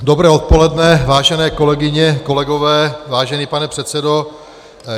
Dobré odpoledne, vážené kolegyně, kolegové, vážený pane předsedo.